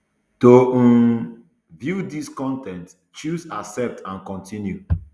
to um view dis con ten t choose accept and continue